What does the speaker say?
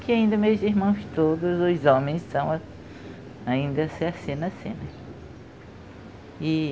Que ainda meus irmãos todos, os homens, são, ainda se assinam assim. E